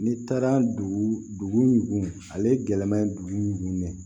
N'i taara dugu ale gɛlɛman ye dugu min ne